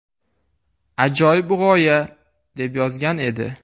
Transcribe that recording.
Ajoyib g‘oya”, deb yozgan edi.